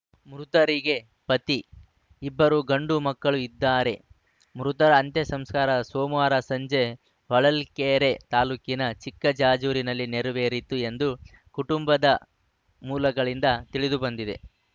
ಮೃತರಿಗೆ ಪತಿ ಇಬ್ಬರು ಗಂಡು ಮಕ್ಕಳು ಇದ್ದಾರೆ ಮೃತರ ಅಂತ್ಯ ಸಂಸ್ಕಾರ ಸೋಮವಾರ ಸಂಜೆ ಹೊಳಲ್ಕೆರೆ ತಾಲೂಕಿನ ಚಿಕ್ಕಜಾಜೂರಿನಲ್ಲಿ ನೆರವೇರಿತು ಎಂದು ಕುಟುಂಬದ ಮೂಲಗಳಿಂದ ತಿಳಿದುಬಂದಿದೆ